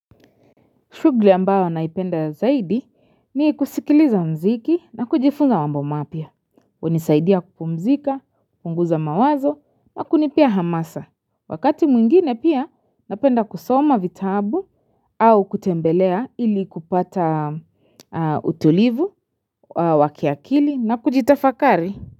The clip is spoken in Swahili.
Shugli ambayo naipenda zaidi ni kusikiliza mziki na kujifunza mambo mapya. Wanisaidia kupumzika, punguza mawazo na kunipea hamasa. Wakati mwingine pia napenda kusoma vitabu au kutembelea ili kupata utulivu, wa kiakili na kujitafakari.